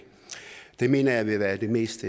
det mener jeg vil være det mest